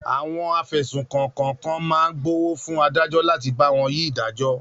Àwọn afẹ̀sùnkàn kọ̀ọ̀kan máa gbówó fún adájọ́ láti bá wọn yí ìdájọ́.